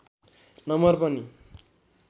number पनि